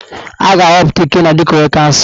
A ga-ahọpụta Ikenna dịka onye kansụl.